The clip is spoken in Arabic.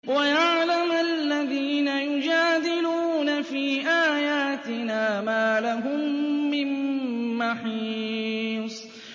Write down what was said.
وَيَعْلَمَ الَّذِينَ يُجَادِلُونَ فِي آيَاتِنَا مَا لَهُم مِّن مَّحِيصٍ